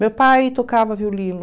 Meu pai tocava violino.